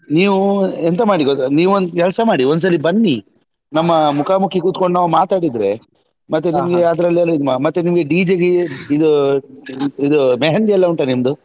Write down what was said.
ನೀವು ಎಂತ ಮಾಡಿ ಗೊತ್ತಾ ನೀವೊಂದ್ ಕೆಲ್ಸ ಮಾಡಿ ಒಂದ್ ಸರಿ ಬನ್ನೀ ನಮ್ಮ ಮುಖಾಮುಖಿ ಕುತ್ಕೊಂಡು ನಾವು ಮಾತಾಡಿದ್ರೆ ಮತ್ತೆ ನಿಮ್ಗೆ ಅದ್ರಲ್ಲಿ ಮತ್ತೆ ನಿಮ್ಗೆ DJ ಗೆ ಇದು ಇದು मेहँदी ಎಲ್ಲಾ ಉಂಟಾ ನಿಮ್ದು.